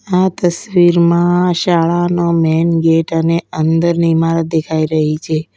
આ તસવીરમાં શાળાનો મેન ગેટ અને અંદરની ઇમારત દેખાઈ રહી છે.